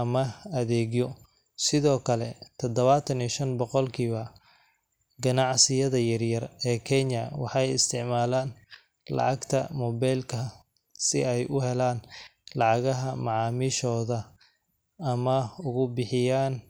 ama adeegyo. Sidoo kale, tadawattan iyo shan boqolkiiba ganacsiyada yaryar ee Kenya waxay isticmaalaan lacagta moobilka si ay u helaan lacagaha macaamiishooda ama ugu bixiyaan.